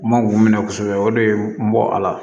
N ma k'u minɛ kosɛbɛ o de ye n bɔ a la